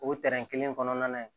O kelen kɔnɔna na